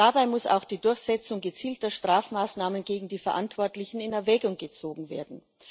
Dabei muss auch die Durchsetzung gezielter Strafmaßnahmen gegen die Verantwortlichen in Erwägung gezogen werden.